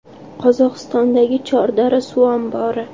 Qozog‘istondagi Chordara suv ombori.